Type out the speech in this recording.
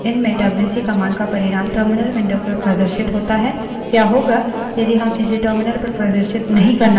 पिछले उदाहरण में हमने देखा कि file या standardin stdin में डब्ल्यूसी command का परिणाम terminal window पर प्रदर्शित होता है